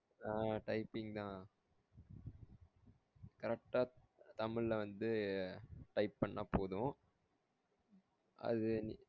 ஆஹ் typing தான் correct ஆ தமிழ்ல வந்து type பண்ணா போதும் அது